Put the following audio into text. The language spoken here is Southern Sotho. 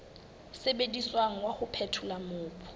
sebediswang wa ho phethola mobu